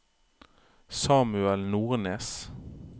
Samuel Nordnes